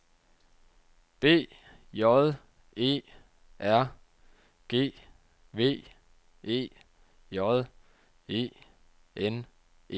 B J E R G V E J E N E